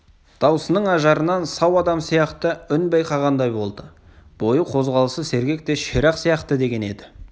даусының ажарынан сау адам сияқты үн байқағандай болды бойы қозғалысы сергек те ширақ сияқты деген еді